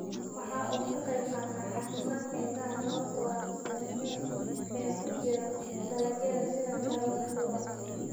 Waxa uu ka qaybqaataa caafimaadka indhaha sababtoo ah fitamiin A ee ku jira dalagyada sida karootada.